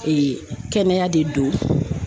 kɛnɛya de don